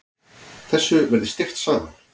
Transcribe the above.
Þessu verði steypt saman.